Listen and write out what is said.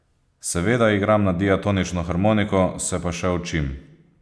Seveda igram na diatonično harmoniko, se pa še učim.